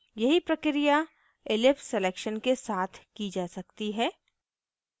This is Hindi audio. यही प्रक्रिया ellipse selection के साथ की जा सकती है